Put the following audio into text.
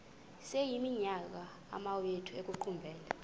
sekuyiminyaka amawenu ekuqumbele